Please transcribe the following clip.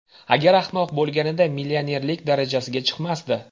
Agar ahmoq bo‘lganida millionerlik darajasiga chiqmasdi.